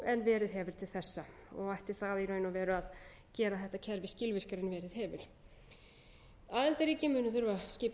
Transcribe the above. en verið hefur til þessa og ætti það að gera þetta kerfi skilvirkara en verið hefur aðildarríki munu þurfa að skipa samráðsaðila